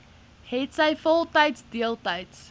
hetsy voltyds deeltyds